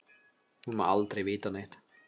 Hún má aldrei vita neitt.